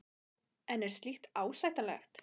En er slíkt ásættanlegt?